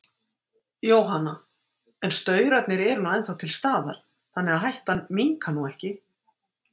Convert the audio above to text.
Jóhanna: En staurarnir eru nú ennþá til staðar, þannig að hættan minnkar nú ekki?